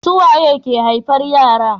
suwaye ke haihuwar yara